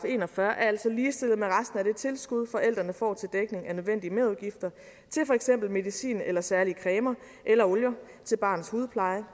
en og fyrre er altså ligestillet med resten af det tilskud forældrene får til dækning af nødvendige merudgifter til for eksempel medicin eller særlige cremer eller olier til barnets hudpleje